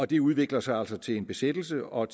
det udvikler sig altså til en besættelse og